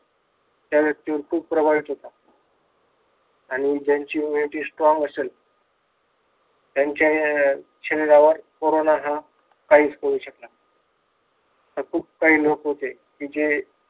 त्या व्यक्तीवर खूप प्रभावित होता. आणि ज्यांची immunity strong असेल, त्यांचा शरीरावर हा कोरोना काहीच करू शकला नाही. खूप काही लोक होते जे